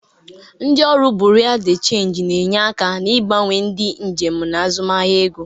Ndị ọrụ Buriu di Chenji na-enye aka n'ịgbanwere ndị njem na azụmaahịa ego.